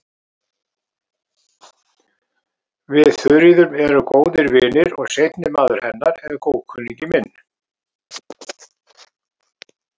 Við Þuríður erum góðir vinir og seinni maður hennar er góðkunningi minn.